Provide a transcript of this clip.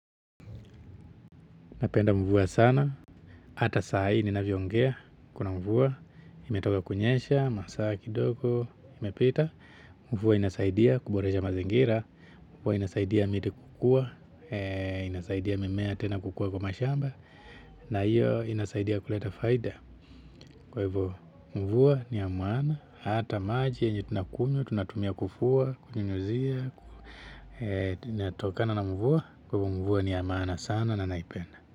Napenda mvua sana, hata saa hii ninavyoongea, kuna mvua, imetoka kunyesha, masaa kidogo imepita, mvua inasaidia kuboresha mazingira, mvua inasaidia miti kukua, inasaidia mimea tena kukua kwa mashamba, na hiyo inasaidia kuleta faida. Kwa hivyo mvua ni ya maana hata maji yenye tunakunywa tunatumia kufua, kunyunyuzia, inatokana na mvua, kwa hivyo mvua ni ya maana sana na naipenda.